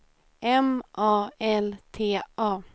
M A L T A